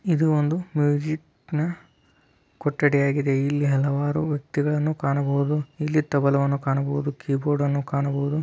ಇದು ಒಂದು ಮ್ಯೂಸಿಕ್ ನ ಕೊಠಡಿ ಆಗಿದೆ ಇಲ್ಲಿ ಅಲವರು ವ್ಯಕ್ತಿ ಗಳನ್ನೂ ಕಾಣಬವುದು ಇಲ್ಲಿ ತಬಲವನ್ನು ಕಾಣಬಹುದು ಕೀಬೋರ್ಡ್ ಅನ್ನು ಕಾಣಬಹುದು.